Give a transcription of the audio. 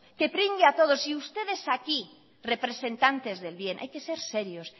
y ustedes aquí representantes del bien hay que ser serios